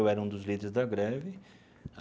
Eu era um dos líderes da greve.